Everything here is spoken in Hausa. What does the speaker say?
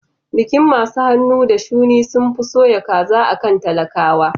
Bikin masu hannu da shuni sunfi soya kaza akan talakawa